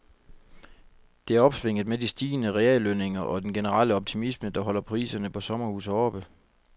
Det er opsvinget med de stigende reallønninger og den generelle optimisme, der holder priserne på sommerhuse oppe.